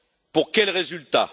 Pour quel résultat?